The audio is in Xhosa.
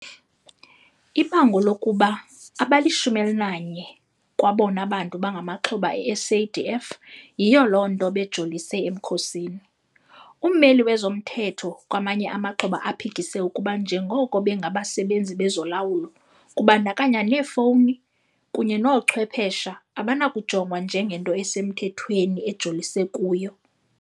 Ibango lokuba abali-11 kwabona bantu bangamaxhoba e-SADF yiyo loo nto bejolise emkhosini. Ummeli wezomthetho kwamanye amaxhoba aphikise ukuba njengoko bengabasebenzi bezolawulo, kubandakanya neefowuni kunye noochwephesha, abanakujongwa njengento esemthethweni ejolise kuyo.